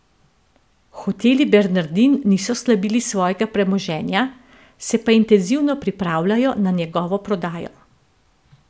Hoteli Bernardin niso slabili svojega premoženja, se pa intenzivno pripravljajo na njegovo prodajo.